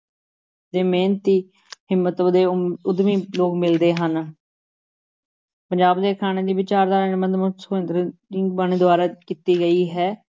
ਦੇ ਮਿਹਨਤੀ ਹਿੰਮਤ ਤੇ ਉ ਉਦਮੀ ਲੋਕ ਮਿਲਦੇ ਹਨ ਪੰਜਾਬ ਦੇ ਅਖਾਣਾ ਦੀ ਵਿਚਾਰਧਾਰਾ ਨਿਬੰਧ ਦੁਆਰਾ ਕੀਤੀ ਗਈ ਹੈ।